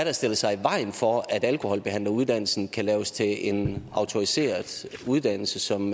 har stillet sig i vejen for at alkoholbehandleruddannelsen kan laves til en autoriseret uddannelse som